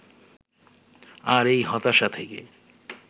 আর এই হতাশা থেকে